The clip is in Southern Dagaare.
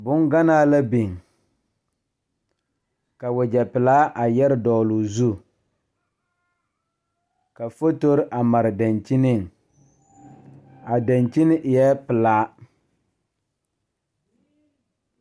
Bonganaa la biŋ ka wagyɛ pelaa a yɛre dɔgloo zu ka fotorre a mare dankyiniŋ a dankyini eɛɛ pelaa.